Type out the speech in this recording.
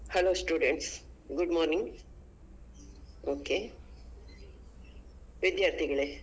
Hello students, good morning okay ವಿದ್ಯಾರ್ಥಿಗಳೇ ಮುಂಬರುವ.